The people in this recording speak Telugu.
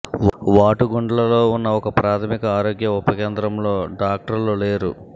వాటుగుండ్లలో ఉన్న ఒక ప్రాథమిక ఆరోగ్య ఉప కేంద్రంలో డాక్టర్లు లేరు